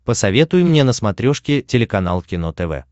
посоветуй мне на смотрешке телеканал кино тв